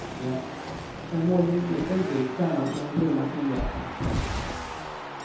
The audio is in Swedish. Med målmedveten blick närmar han sig den bruna skinnjackan. punkt